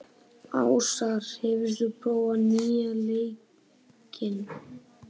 Ásar, hefur þú prófað nýja leikinn?